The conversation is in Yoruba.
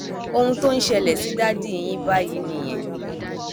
ohun tó ń ṣẹlẹ sí dádì yín báyìí nìyẹn